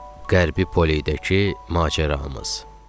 Qərbi Poledəki macəramız.